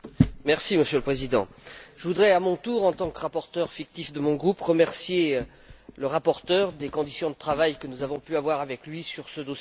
Monsieur le Président, je voudrais à mon tour, en tant que rapporteur fictif de mon groupe, remercier le rapporteur des conditions de travail que nous avons pu avoir avec lui sur ce dossier.